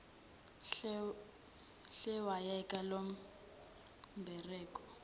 hle yekela lombereko